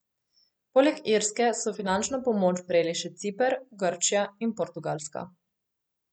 Poleg Irske so finančno pomoč prejeli še Ciper, Grčija in Portugalska.